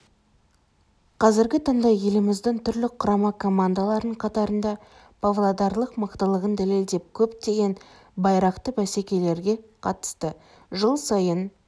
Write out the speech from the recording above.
қазіргі таңда еліміздің түрлі құрама командаларының қатарында павлодарлық мықтылығын дәлелдеп көптеген байрақты бәсекелерге қатысты жыл сайын